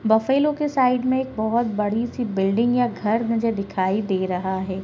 Buffalo के side में एक बहुत बड़ी सी बिल्डिंग या घर मुझे दिखाई दे रहा है।